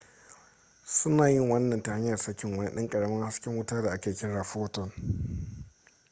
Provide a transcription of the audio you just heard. suna yin wannan ta hanyar sakin wani ɗan ƙaramin hasken wuta da ake kira photon